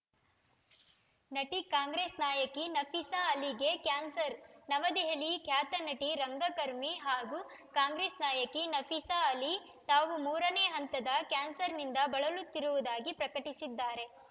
ನಟಿ ಕಾಂಗ್ರೆಸ್‌ ನಾಯಕಿ ನಫೀಸಾ ಅಲಿಗೆ ಕ್ಯಾನ್ಸರ್ ನವದೆಹಲಿ ಖ್ಯಾತ ನಟಿ ರಂಗಕರ್ಮಿ ಹಾಗೂ ಕಾಂಗ್ರೆಸ್‌ ನಾಯಕಿ ನಫೀಸಾ ಅಲಿ ತಾವು ಮೂರನೇ ಹಂತದ ಕ್ಯಾನ್ಸರ್‌ನಿಂದ ಬಳಲುತ್ತಿರುವುದಾಗಿ ಪ್ರಕಟಿಸಿದ್ದಾರೆ